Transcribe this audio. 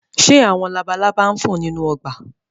Ṣé àwọn labalaba ń fò nínú ọgbà?